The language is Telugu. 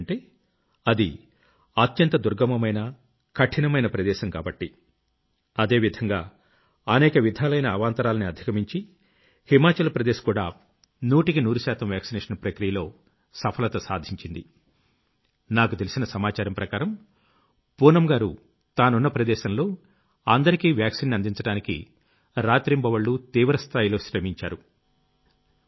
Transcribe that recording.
ఎందుకంటే అది అత్యంత దుర్గమమైన కఠినమైన ప్రదేశం కాబట్టి | అదే విధంగా అనేక విధాలైన అవాంతరాల్ని అధిగమించి హిమాచల్ ప్రదేశ్ కూడా నూటికి నూరుశాతం వాక్సినేషన్ ప్రక్రియలో సఫలత సాధించింది | నాకు తెలిసిన సమాచారం ప్రకారం పూనమ్ గారు తానున్న ప్రదేశంలో అందరికీ వాక్సీన్ ని అందించడానికి రాత్రింబవళ్లూ తీవ్రస్థాయిలో శ్రమించారు |